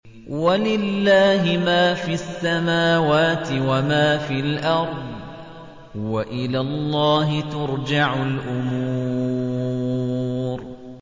وَلِلَّهِ مَا فِي السَّمَاوَاتِ وَمَا فِي الْأَرْضِ ۚ وَإِلَى اللَّهِ تُرْجَعُ الْأُمُورُ